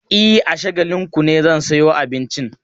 E, a Shagalinku ne zan sayo abincin.